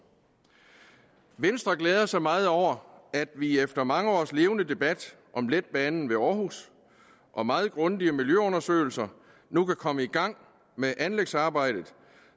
venstre glæder sig meget over at vi efter mange års levende debat om letbanen ved aarhus og meget grundige miljøundersøgelser nu kan komme i gang med anlægsarbejdet